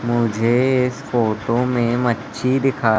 मुझे इस फोटो में मच्छी दिखा--